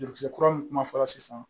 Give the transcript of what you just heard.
Dekisɛ kura min kuma fɔra sisan